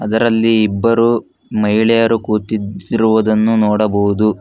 ಅದರಲ್ಲಿ ಇಬ್ಬರು ಮಹಿಳೆಯರು ಕೂತಿದ್ದಿರುವುದನ್ನು ನೋಡಬಹುದು.